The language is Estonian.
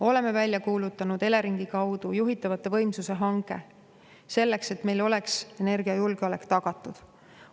Oleme välja kuulutanud Eleringi kaudu juhitavate võimsuste hanke, selleks et meil oleks energiajulgeolek tagatud.